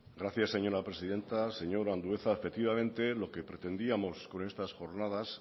gracias señora presidenta señor andueza efectivamente lo que pretendíamos con estas jornadas